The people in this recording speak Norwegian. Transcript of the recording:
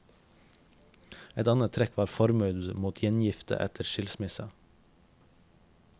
Et annet trekk var forbud mot gjengifte etter skilsmisse.